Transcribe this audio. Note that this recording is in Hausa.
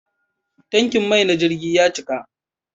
Tankin mai na jirgin ya cika.